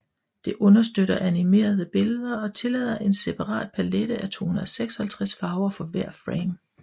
Det understøtter animerede billeder og tillader en separat palette af 256 farver for hver frame